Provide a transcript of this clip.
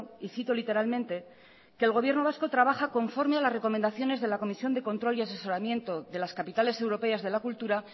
y cito literalmente que el gobierno vasco trabaja conforme a las recomendaciones de la comisión de control y asesoramiento de las capitales europeas de la cultura